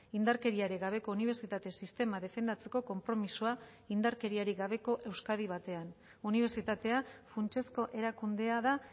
indarkeriarik gabeko unibertsitate sistema defendatzeko konpromisoa indarkeriarik gabeko euskadi batean unibertsitatea funtsezko erakundea da